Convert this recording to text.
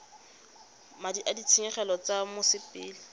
madi a ditshenyegelo tsa mosepele